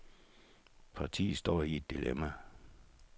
Partiet står i et dilemma.